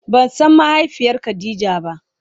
Ba san mahaifiyar khadija ba.